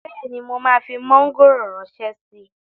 Bẹ́ẹ̀ni, mo máa fi mọ́ngòrò ránṣẹ́ síi